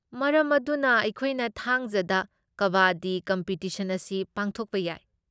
ꯃꯔꯝ ꯑꯗꯨꯅ, ꯑꯩꯈꯣꯏꯅ ꯊꯥꯡꯖꯗ ꯀꯕꯥꯗꯤ ꯀꯝꯄꯤꯇꯤꯁꯟ ꯑꯁꯤ ꯄꯥꯡꯊꯣꯛꯄ ꯌꯥꯏ꯫